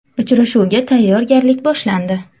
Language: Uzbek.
Uchrashuvga tayyorgarlik boshlandi.